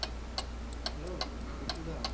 Hello Bittu the?